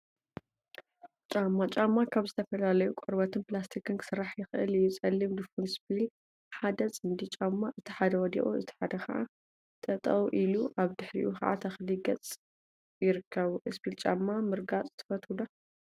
ጫማ ጫማ ካብ ዝተፈላለዩ ቆርበትን ፕላስቲካትን ክስራሕ ይክእል እዩ፡፡ ፀሊም ድፉን እስፒል ሓደ ፅምዲ ጫማ እቲ ሓደ ወዲቁ እቲ ሓደ ከዓ ጠጠወ ኢሉ አብ ድሕሪኡ ከዓ ተክሊ ገፅ ይርከቡ፡፡ እስፒል ጫማ ምርጋፅ ትፈትው ዶ?